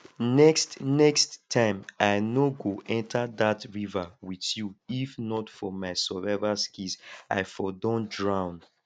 next next time i no go enter dat river with you if not for my survival skills i for don drown